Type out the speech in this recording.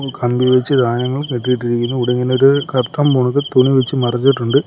കമ്പി വച്ച് കെട്ടിയിട്ടിരിക്കുന്നു ഇവിടിങ്ങനൊരു കർട്ടൻ പോലത്തെ തുണി വച്ച് മറച്ചിട്ടുണ്ട്.